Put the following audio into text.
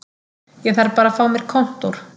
Ég þarf bara að fá mér kontór